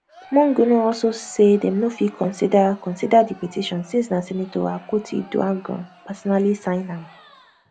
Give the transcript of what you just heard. monguno also say dem no fit consider consider di petition since na senator akpotiuduaghan personally sign am